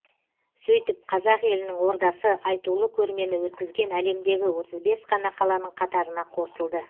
сөйтіп қазақ елінің ордасы айтулы көрмені өткізген әлемдегі отыз бес қана қаланың қатарына қосылды